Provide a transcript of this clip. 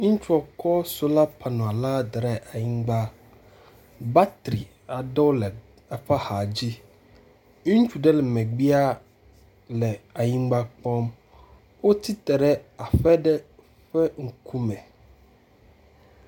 Ŋutsua kɔ sola panel la de ɖe anyigba. Batri aɖewo le eƒe axadzi. Ŋutsu ɖe le megbea le anyigba kpɔm. wotsitre ɖe aƒe aɖe ƒe ŋkume.